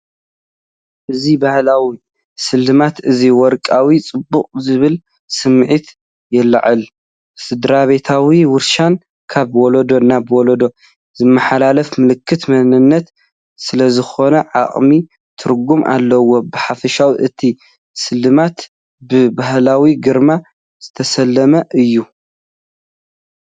እዚ ባህላዊ ስልማት እዚ “ወርቃዊ ጽባቐ” ዝብል ስምዒት የለዓዕል። ስድራቤታዊ ውርሻን ካብ ወለዶ ናብ ወለዶ ዝመሓላለፍ ምልክት መንነት ስለዝኾነ ዓሚቕ ትርጉም ኣለዎ። ብሓፈሻ እቲ ስልማት ብ“ባህላዊ ግርማ” ዝተሰለመ እዩ።